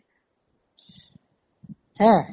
হে?